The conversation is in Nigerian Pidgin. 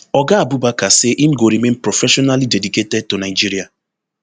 oga abubakar say im go remain professionally dedicated to nigeria